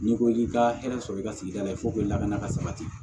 N'i ko k'i ka hɛrɛ sɔrɔ i ka sigida la lakana ka sabati